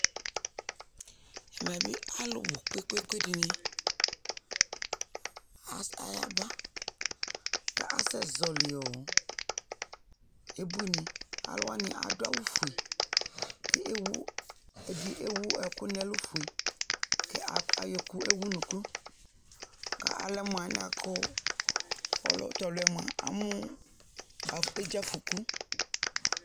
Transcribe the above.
Ɛmɛ bï alʋ bʋ kpekpekpe dɩnɩ as ayaba, k'asɛ zɔɣɔlɩ ɔ ebuinɩ Alʋwanɩ adʋ awʋfue , k'e ewu ewu ɛkʋfue n'ɛlʋ, ka ayɔkʋ ewunuku ka alɛ mʋalɛnɛakʋ, tɔlʋɛ mʋa amʋ edze afɔku